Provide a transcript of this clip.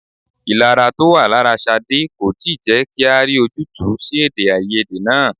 Ìlara to wá lára Ṣadé kò tí ì jẹ́ kí a rí ojútùú sí èdè-áiyedé náà.